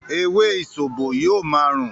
“ewé ìsòbò” yóò ma rùn.